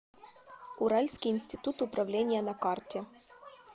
уральский институт управления на карте